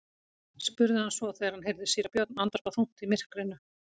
spurði hann svo þegar hann heyrði síra Björn andvarpa þungt í myrkrinu.